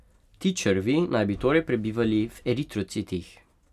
Ti črvi naj bi torej prebivali v eritrocitih.